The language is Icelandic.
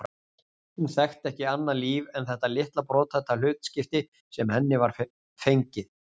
Hún þekkti ekki annað líf en þetta litla brothætta hlutskipti sem henni var fengið.